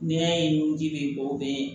N'i y'a ye ni ji bɛ bɔ o bɛ